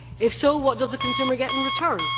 If so, what does the consumer get in return?